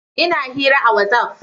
Ina hira a Whatsaf